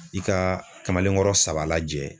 I ka kamalenkɔrɔ saba lajɛ